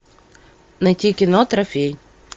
найти кино трофей